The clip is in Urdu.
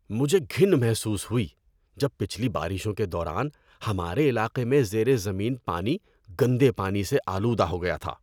مجھے گھن محسوس ہوئی جب پچھلی بارشوں کے دوران ہمارے علاقے میں زیر زمین پانی گندے پانی سے آلودہ ہو گیا تھا۔